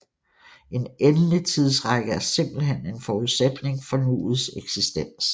En endelig tidsrække er simpelthen en forudsætning for nuets eksistens